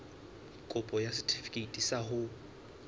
kopo ya setefikeiti sa ho